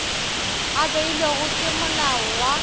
a beilwego ke molao wa